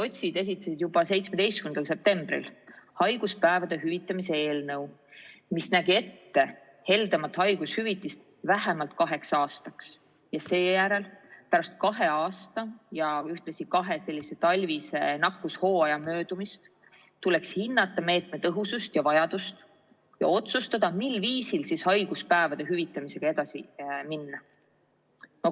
Sotsid esitasid juba 17. septembril haiguspäevade hüvitamise eelnõu, mis nägi ette heldemat haigushüvitist vähemalt kaheks aastaks ja seejärel pärast kahe aasta ja ühtlasi kahe talvise nakkushooaja möödumist tuleks hinnata meetme tõhusust ja vajadust ja otsustada, mil viisil haiguspäevade hüvitamisega edasi minna.